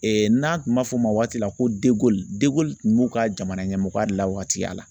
n'a tun ma fɔ o ma waati la ko kun b'u ka jamana ɲɛmɔgɔya la waati ya la.